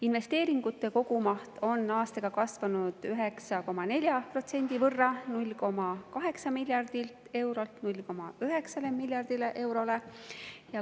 Investeeringute kogumaht on aastaga kasvanud 9,4% võrra, 0,8 miljardilt eurolt 0,9 miljardile eurole.